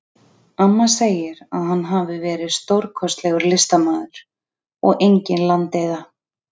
Amma segir að hann hafi verið stórkostlegur listamaður og engin landeyða.